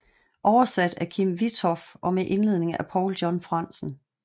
Oversat af Kim Witthoff og med indledning af Paul John Frandsen